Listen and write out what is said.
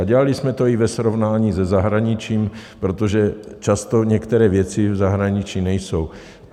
A dělali jsme to i ve srovnání se zahraničím, protože často některé věci v zahraničí nejsou.